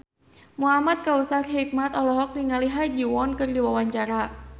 Muhamad Kautsar Hikmat olohok ningali Ha Ji Won keur diwawancara